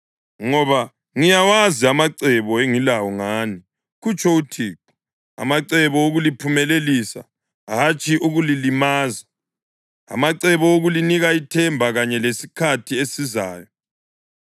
Ngoba ngiyawazi amacebo engilawo ngani,” kutsho uThixo, “amacebo okuliphumelelisa hatshi ukulilimaza, amacebo okulinika ithemba kanye lesikhathi esizayo.